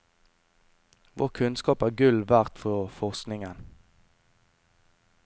Vår kunnskap er gull verdt for forskningen.